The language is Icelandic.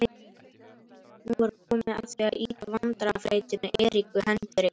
Nú var komið að því að ýta vandræðafleytunni Eriku Hendrik